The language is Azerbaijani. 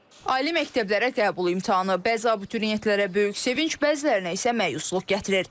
Ali məktəblərə qəbul imtahanı bəzi abituriyentlərə böyük sevinc, bəzilərinə isə məyusluq gətirir.